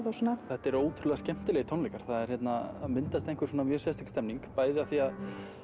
og svona þetta eru ótrúlega skemmtilegir tónleikar það er hérna myndast einhver svona mjög sérstök stemning bæði af því að